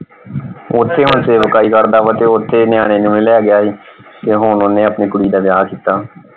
ਓਥੇ ਹੁਣ ਕਰਦਾ ਵਾ ਤੇ ਓਥੇ ਨਿਆਣੇ ਨਿਉਣੇ ਲੈ ਗਿਆ ਸੀ ਤੇ ਹੁਣ ਓਹਨੇ ਆਪਣੀ ਕੁੜੀ ਦਾ ਵਿਆਹ ਕੀਤਾ।